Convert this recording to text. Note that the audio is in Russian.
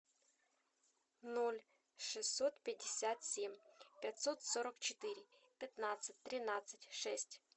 ноль шестьсот пятьдесят семь пятьсот сорок четыре пятнадцать тринадцать шесть